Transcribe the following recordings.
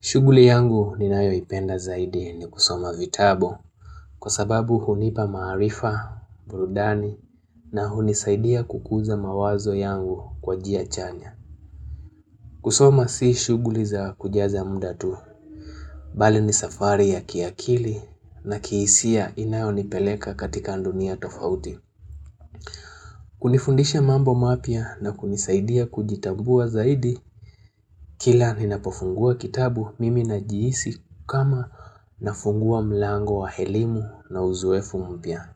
Shughuli yangu ninayoipenda zaidi ni kusoma vitabu kwa sababu hunipa maarifa, burudani na hunisaidia kukuza mawazo yangu kwa njia chanya. Kusoma si shughuli za kujaza muda tu, bali ni safari ya kiakili na kihisia inayonipeleka katika dunia tofauti. Kunifundisha mambo mapya na kunisaidia kujitambua zaidi, kila ninapofungua kitabu mimi najihisi kama nafungua mlango wa elimu na uzoefu mpya.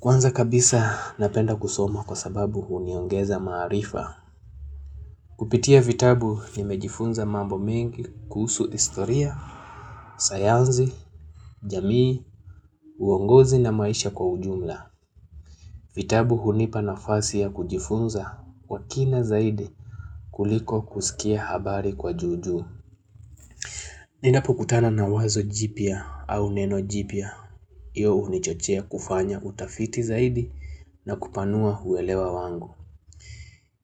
Kwanza kabisa napenda kusoma kwa sababu huniongeza maarifa. Kupitia vitabu nimejifunza mambo mengi kuhusu historia, sayansi, jamii, uongozi na maisha kwa ujumla. Vitabu hunipa nafasi ya kujifunza kwa kina zaidi kuliko kusikia habari kwa juu juu. Ninapokutana nawazo jipya au neno jipya. Iyo hunichochea kufanya utafiti zaidi na kupanua uelewa wangu.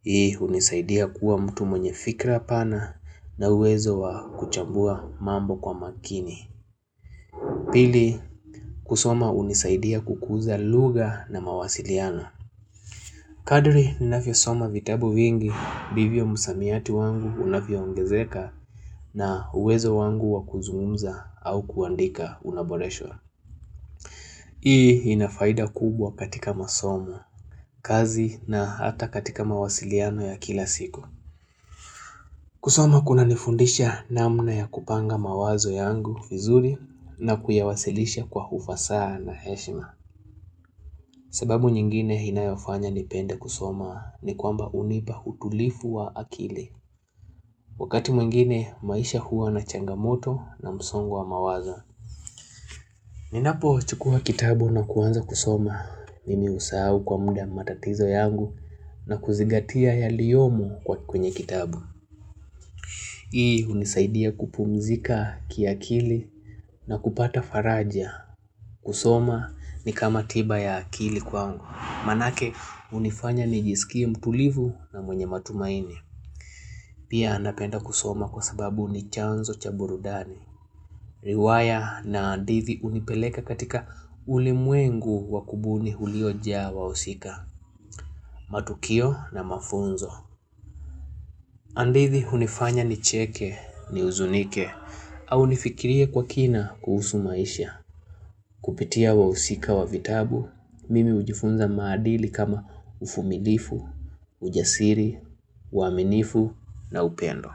Hii hunisaidia kuwa mtu mwenye fikra pana na uwezo wa kuchambua mambo kwa makini. Pili kusoma hunisaidia kukuza lugha na mawasiliano. Kadri ninavyosoma vitabu vingi, ndivyo msamiati wangu unavyoongezeka na uwezo wangu wakuzungumza au kuandika unaboreshwa. Hii inafaida kubwa katika masomo, kazi na hata katika mawasiliano ya kila siku. Kusoma kunanifundisha namna ya kupanga mawazo yangu vizuri na kuyawasilisha kwa ufasa na heshima. Sababu nyingine inayofanya nipende kusoma ni kwamba unipa utulivu wa akili. Wakati mwingine maisha huwa na changamoto na msongo wa mawazo. Ninapochukua kitabu na kuanza kusoma. Mimi husahau kwa mda matatizo yangu na kuzigatia yaliyomo kwenye kitabu. Hii hunisaidia kupumzika kiakili na kupata faraja. Kusoma ni kama tiba ya akili kwangu. Manake hunifanya nijisikie mtulivu na mwenye matumaini. Pia napenda kusoma kwa sababu ni chanzo cha burudani. Riwaya na hadithi hunipeleka katika ulimwengu wakubuni ulioja wahusika. Matukio na mafunzo. Hadithi hunifanya nicheke ni huzunike. Au nifikirie kwa kina kuhusu maisha. Kupitia wa usika wa vitabu. Mimi hujifunza maadili kama uvumilivu. Ujasiri, uaminifu na upendo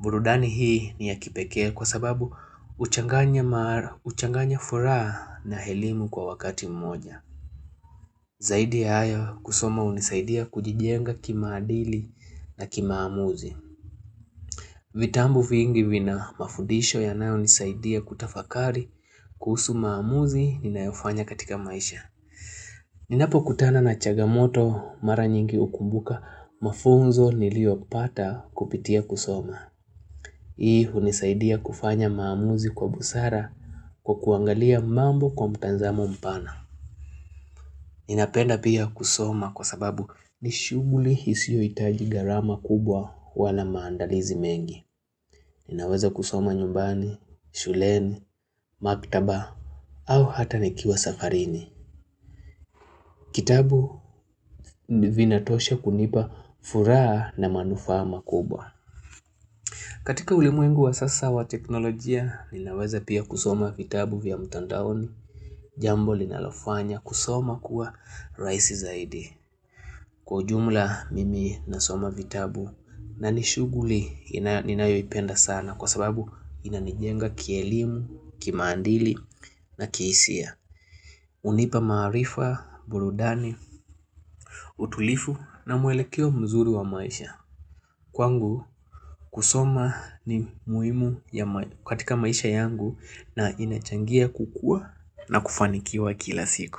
burudani hii ni ya kipekee kwa sababu huchanganya mara, uchanganya furaha na elimu kwa wakati mmoja Zaidi ya hayo kusoma hunisaidia kujijenga kimaadili na kimaamuzi vitabu vingi vina mafudisho yanayonisaidia kutafakari kuhusu maamuzi ninayofanya katika maisha Ninapokutana na changamoto mara nyingi hukumbuka mafunzo niliopata kupitia kusoma. Hii hunisaidia kufanya maamuzi kwa busara kwa kuangalia mambo kwa mtazamo mpana. Ninapenda pia kusoma kwa sababu nishughuli isiyohitaji gharama kubwa wala maandalizi mengi. Ninaweza kusoma nyumbani, shuleni, maktaba au hata nikiwa safarini. Kitabu vinatosha kunipa furaha na manufaa makubwa. Katika ulimwenguu wa sasa wa teknolojia ninaweza pia kusoma vitabu vya mtandaoni jambo linalofanya kusoma kuwa rahisi zaidi kwa ujumla mimi nasoma vitabu nanishughuli ninayoipenda sana kwa sababu inanijenga kielimu, kimaadili na kihisia. Hunipa maarifa, burudani, utulivu na mwelekeo mzuri wa maisha kwangu kusoma ni muhimu katika maisha yangu na inachangia kukuwa na kufanikiwa kila siku.